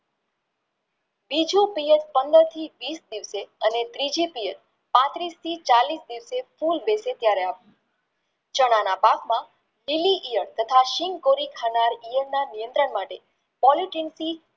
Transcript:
બીજું પંદર થી વિશ અને ત્રીજી પાંત્રીશ થી ચાલીશ દિવસે ફૂલ બેસે ત્યરે આપવું ચણાના પાકમાં નિયંત્રણ માટે Polygyncy